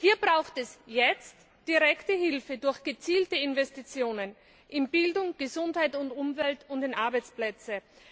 Hier braucht es jetzt direkte Hilfe durch gezielte Investitionen in Bildung, Gesundheit und Umwelt und in Arbeitsplätze.